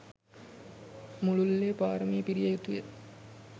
මුළුල්ලේ පාරමි පිරිය යුතුය.